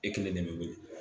E kelen de bɛ wele